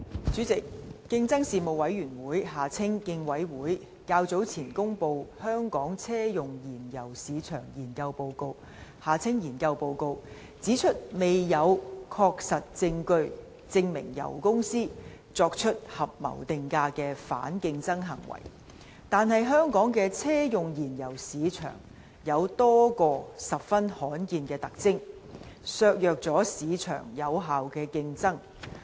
主席，競爭事務委員會較早前公布《香港車用燃油市場研究報告》，指出未有確實證據證明油公司作出合謀定價的反競爭行為，但香港的車用燃油市場有多個十分罕見的特徵，削弱了市場的有效競爭。